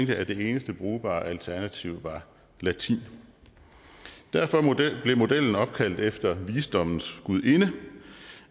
jeg at det eneste brugbare alternativ var latin derfor blev modellen opkaldt efter visdommens gudinde